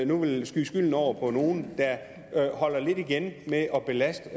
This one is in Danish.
nu vil skyde skylden over på nogle der holder lidt igen med at belaste